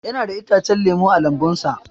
Yana da itacen lemu a lambun sa.